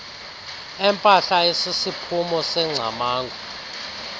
empahla esisiphumo sengcamango